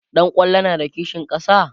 ɗan kwallon na da kishin ƙasa?